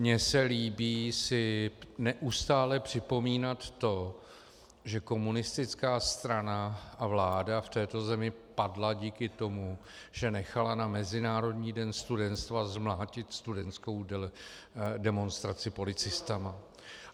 Mně se líbí si neustále připomínat to, že komunistická strana a vláda v této zemi padla díky tomu, že nechala na Mezinárodní den studentstva zmlátit studentskou demonstraci policisty.